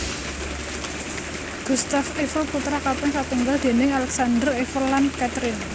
Gustave Eiffel putra kaping satunggal déning Alexandre Eiffel lan Catherine